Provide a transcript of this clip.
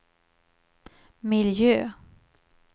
miljö